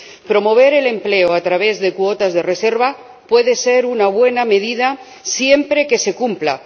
Promover el empleo a través de cuotas de reserva puede ser una buena medida, siempre que se cumpla.